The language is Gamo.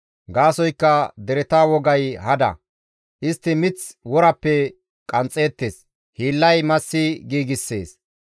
Gaasoykka dereta wogay hada. Istti mith worappe qanxxeettes; hiillay massi giigssees.